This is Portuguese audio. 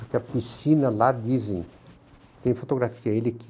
Porque a piscina lá, dizem, tem fotografia dele que